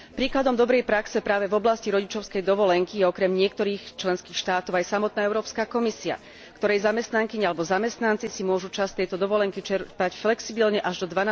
Príkladom dobrej praxe práve v oblasti rodičovskej dovolenky je okrem niektorých členských štátov aj samotná Európska komisia, ktorej zamestnankyne alebo zamestnanci si môžu časť tejto dovolenky čerpať flexibilne až do